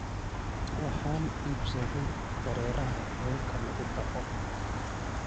Waxaan iibsaday dareeraha weelka lagu dhaqo.